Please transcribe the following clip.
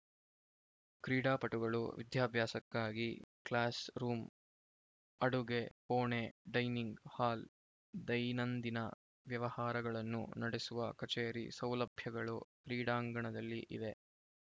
ಕ್ರೀಡಾಪಟುಗಳು ವಿದ್ಯಾಭ್ಯಾಸಕ್ಕಾಗಿ class room ಅಡುಗೆ ಕೋಣೆ ಡೈನಿಂಗ್‌ ಹಾಲ್‌ ದೈನಂದಿನ ವ್ಯವಹಾರಗಳನ್ನು ನಡೆಸುವ ಕಚೇರಿ ಸೌಲಭ್ಯಗಳು ಕ್ರೀಡಾಂಗಣದಲ್ಲಿ ಇವೆ